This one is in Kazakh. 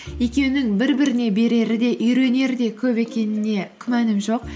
екеуінің бір біріне берері де үйренері де көп екеніне күмәнім жоқ